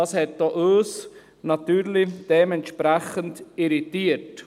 Das hat auch uns natürlich dementsprechend irritiert.